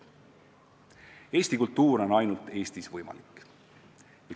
Eesti kultuur on ainult Eestis võimalik.